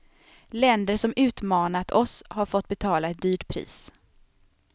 Länder som utmanat oss har fått betala ett dyrt pris.